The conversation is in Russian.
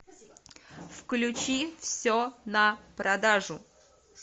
включи все на продажу